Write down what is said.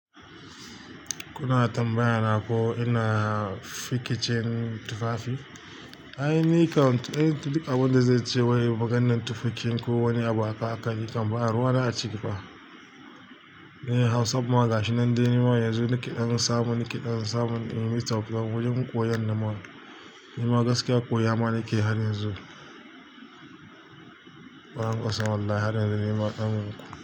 Kuna tambayana ko ina fikicin tufafi? Ai, ni kam duk abin da zai ce wai maganan tufafin ko wani abu aka yi kam, ba a ruwa na a ciki fa. Ni Hausan magashi nan dai, nima yanzu nake ɗan samun, nake ɗan samun in yi tauka wurin koyon nan ma. Nima gaskiya koya ma nake har yanzu. Ba ƙasa wallahi halin da nima ɗan.